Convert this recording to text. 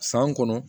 San kɔnɔ